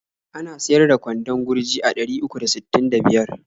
Ana siyar da kwandon gurji a ɗari uku da sittin da biyar.